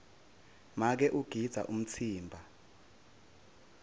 make ugidza umtsimba